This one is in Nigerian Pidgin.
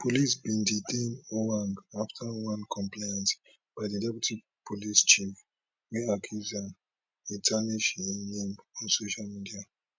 police bin detain ojwang afta one complaint by di deputy police chief wey accuse am e tarnish im name on social media